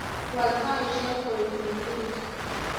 Wal taishek kue ne birir